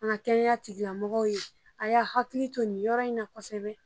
An ka kɛnɛya tigilamɔgɔ ye, a y'a hakili to nin yɔrɔ in na kosɛbɛ.